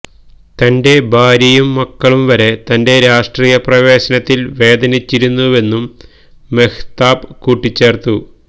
തന്റെ ഭാര്യയും മക്കളും വരെ തന്റെ രാഷ്ട്രീയപ്രവേശനത്തില് വേദനിച്ചിരുന്നുവെന്നും മെഹ്താബ് കൂട്ടിച്ചേര്ത്തു